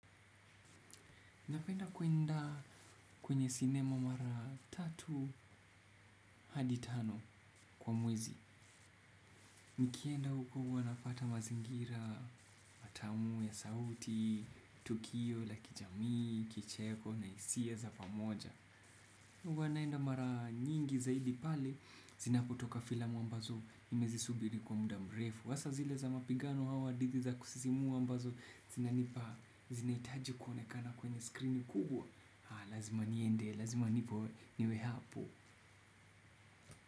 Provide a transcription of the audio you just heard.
Napenda kuenda kwenye sinema mara tatu hadi tano kwa mwezi. Nikienda huku huwa napata mazingira, matamu ya sauti, tukio, la kijami, kicheko, na hisia za pamoja. Huwa naenda mara nyingi zaidi pale, zinapotoka filamu ambazo nimezisubiri kwa muda mrefu. Hasa zile za mapigano au hadithi za kusisimua ambazo, zinanipa, zinahitaji kuonekana kwenye screen kubwa. Lazima niende, lazima nipo niwe hapo.